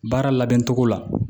Baara labɛn cogo la